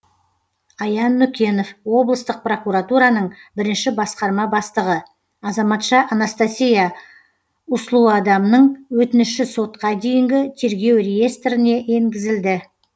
аян нүкенов облыстық прокуратураның бірінші басқарма бастығы азаматша анастасия услуадамның өтініші сотқа дейінгі тергеу реестріне енгізілді